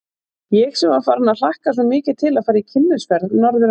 Ég sem var farin að hlakka svo mikið til að fara í kynnisferð norður að